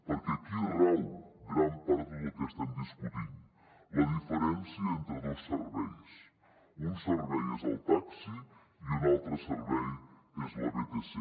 perquè aquí rau gran part de tot el que estem discutint la diferència entre dos serveis un servei és el taxi i un altre servei és la vtc